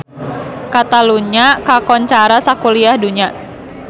Catalunya kakoncara sakuliah dunya